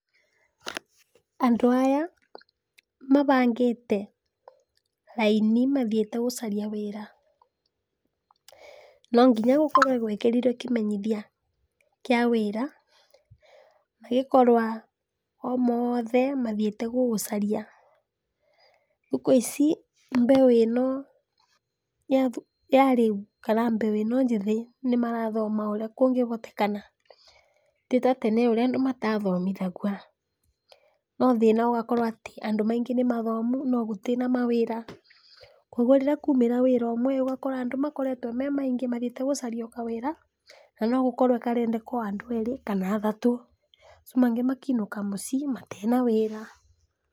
Andũ aya mabangĩte raini mathiĩte gũcaria wĩra, no nginya gũkorwe gwekĩrirwe kĩmenyithia kĩa wĩra, magĩkorwa o mothe mathiĩte gũgũcaria, thikũ ici mbeũ ĩno ya rĩũ ,kana mbeũ ĩno njĩthĩ nĩ marothoma ũrĩa ngũngĩhotekana, tĩ ta tene ũrĩa andũ matathomithagua. No thĩna ũgakorwa atĩ andũ maingĩ nĩmathomu no gũtĩnamawawĩra, koguo rĩrĩa kwaũmĩra wĩra ũmwe ũgakora andũ makoretwe me maingĩ mathiĩte gũcaria kawĩra na nogũkorwa karendeka andũ erĩ kana athatũ acu mangĩ makenũka mũcii matena wĩra.